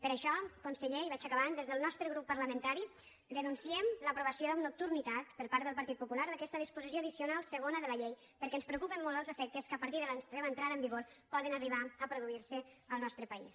per això conseller i vaig acabant des del nostre grup parlamentari denunciem l’aprovació amb nocturnitat per part del partit popular d’aquesta disposició addicional segona de la llei perquè ens preocupen molt els efectes que a partir de la seva entrada en vigor poden arribar a produir se al nostre país